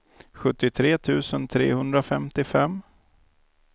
sjuttiotre tusen trehundrafemtiofem